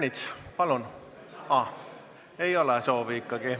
Siiski ei ole soovi.